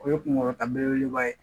O ye kunkɔrɔta belebeleba ye